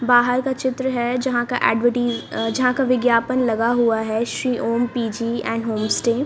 बाहर का चित्र है यहां का एडवर्टाइज अह यहां का विज्ञापन लगा हुआ है Shri Om P G and homestay.